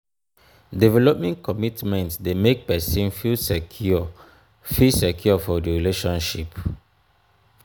if issues come out of di relationship dem must first look for how to settle di matter